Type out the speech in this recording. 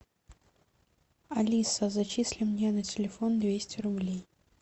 алиса зачисли мне на телефон двести рублей